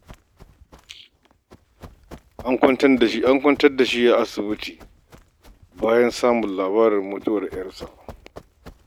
An kwantar da shi a asibiti bayan samun labarin mutuwar 'yarsa.